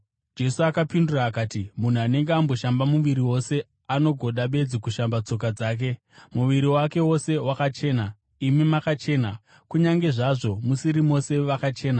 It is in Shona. Jesu akapindura akati, “Munhu anenge amboshamba muviri wose, anongoda bedzi kushamba tsoka dzake, muviri wake wose wakachena. Imi makachena, kunyange zvazvo musiri mose vakachena.”